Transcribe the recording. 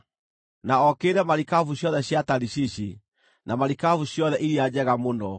na okĩrĩre marikabu ciothe cia Tarishishi, na marikabu ciothe iria njega mũno.